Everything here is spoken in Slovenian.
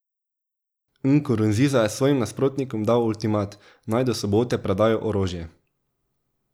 Nkurunziza je svojim nasprotnikom dal ultimat, naj do sobote predajo orožje.